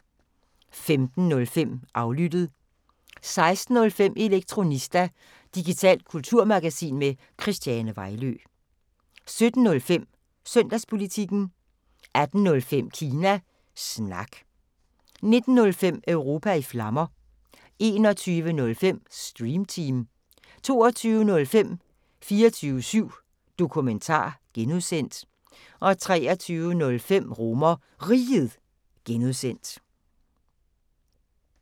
15:05: Aflyttet 16:05: Elektronista – digitalt kulturmagasin med Christiane Vejlø 17:05: Søndagspolitikken 18:05: Kina Snak 19:05: Europa i Flammer 21:05: Stream Team 22:05: 24syv Dokumentar (G) 23:05: RomerRiget (G)